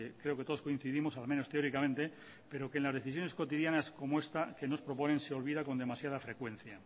creo que todos coincidimos al menos teóricamente pero que en las decisiones cotidianas como esta que nos proponen se olvida con demasiada frecuencia